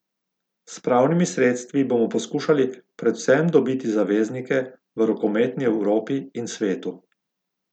S pravnimi sredstvi bomo poskušali predvsem dobiti zaveznike v rokometni Evropi in svetu.